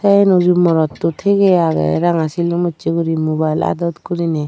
enuju morotto tige age ranga silum usse guri mubail adot gurinei.